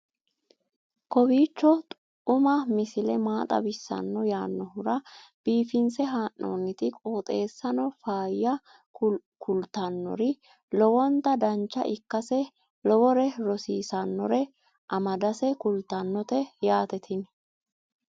kowiicho xuma mtini maa xawissanno yaannohura biifinse haa'noonniti qooxeessano faayya kultannori lowonta dancha ikkase lowore rosiisannore amadase kultannote yaate tini